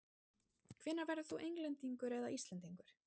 Hvenær verður þú Englendingur eða Íslendingur?